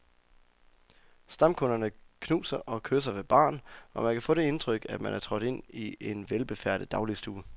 Stamkunderne knuser og kysser ved baren, og man kan få det indtryk, at man er trådt ind i en velbefærdet dagligstue.